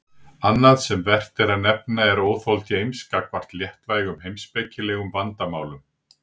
Annað sem vert er að nefna er óþol James gagnvart léttvægum heimspekilegum vandamálum.